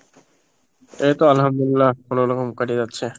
এইতো আলহাম দুলিল্লাহ, কোনোরকম কেটে যাচ্ছে।